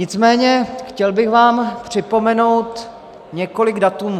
Nicméně chtěl bych vám připomenout několik dat.